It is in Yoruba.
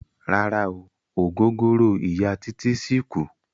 Rárá o, ògógóró Ìya Títí ṣì kù.